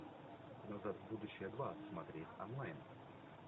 назад в будущее два смотреть онлайн